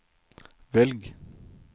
velg